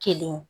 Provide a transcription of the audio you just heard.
Kelen